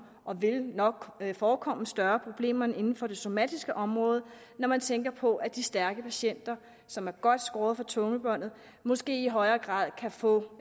og vil nok forekomme større problemer end inden for det somatiske område når man tænker på at de stærke patienter som er godt skåret for tungebåndet måske i højere grad kan få